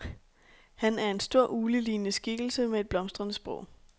Han er en stor, uglelignende skikkelse med et blomstrende sprog.